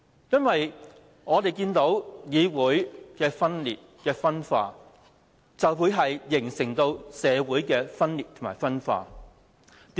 議會的分裂、分化，就會形成社會的分裂及分化。